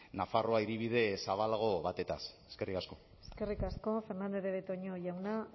nafarroa hiribide zabalago batez eskerrik asko eskerrik asko fernandez de betoño jauna